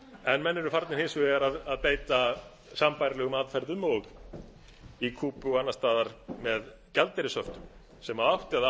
en menn eru farnir eins vegar að beita sambærilegum aðferðum og í kúbu og annars staðar með gjaldeyrishöftum sem átti að